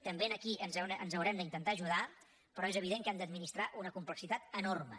també aquí ens haurem d’intentar ajudar però és evident que hem d’administrar una complexitat enorme